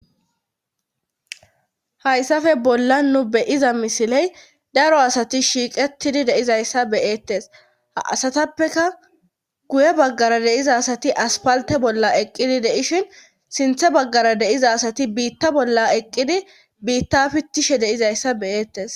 hayssafe bolla nu beyiza misiley daro asati shiiqettidi deizayssa beyeettes a asatappeka guye baggara deiza asati aspalte bolla eqqidi deishin sinthe baggara deiza asati biitta bolla eqqidi biitta pittishe deizayssa beyeettes